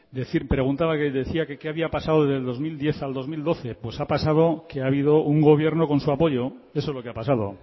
preguntaba que decía que qué había pasado del dos mil diez al dos mil doce pues ha pasado que ha habido un gobierno con su apoyo eso es lo que ha pasado